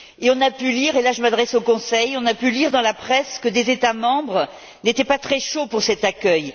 On a pu lire et là je m'adresse au Conseil on a pu lire dans la presse que des États membres n'étaient pas très chauds pour cet accueil.